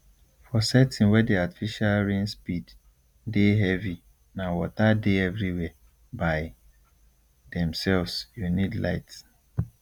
for setting wey the artificial rain speed dey heavyna water dey everywhere by themselvesyou need light